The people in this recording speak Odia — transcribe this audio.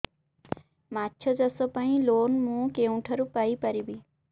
ମାଛ ଚାଷ ପାଇଁ ଲୋନ୍ ମୁଁ କେଉଁଠାରୁ ପାଇପାରିବି